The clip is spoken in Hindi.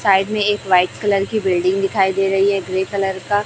साइड में एक वाइट कलर की बिल्डिंग दिखाई दे रही है ग्रे कलर का--